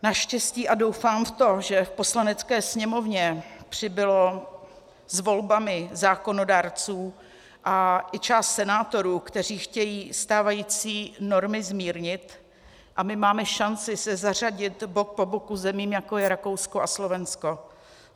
Naštěstí, a doufám v to, že v Poslanecké sněmovně přibylo s volbami zákonodárců, a i část senátorů, kteří chtějí stávající normy zmírnit, a my máme šanci se zařadit bok po boku zemím, jako je Rakousko a Slovensko.